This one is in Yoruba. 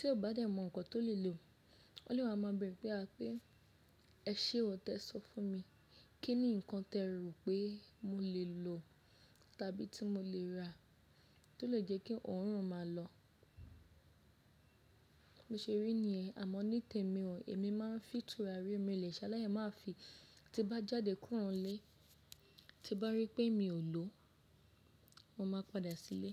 tí o bá dẹ̀ mọ ǹkan tó lè lò, wọ́n lè máa mọ̀ bẹ́rẹ̀ wípé a pé ẹ ṣe o tẹ̀ sọ fún mi kí ni ǹkan tẹ rò pé mo lè lò tàbí tí mo lè rà tó lè jẹ́ kí òórùn máa lọ. Bí o ṣe rí ni yẹ́n àmọ́ ní tèmi o, èmi máa ń fi tùràrí mi o lè ṣe alái máa fi. Tí bá jáde kúrò nílé, tí bá rí pé mi ò lò, mo máa padà sílé.